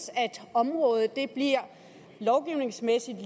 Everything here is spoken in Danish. området lovgivningsmæssigt